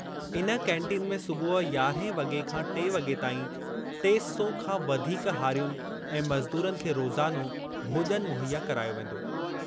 इन कैंटीन में सुबुह यारहं वगे॒ खां टे वगे॒ ताईं टे सौ खां वधीक हारियुनि ऐं मज़दूरनि खे रोज़ानो भोज॒न मुहैया करायो वेंदो।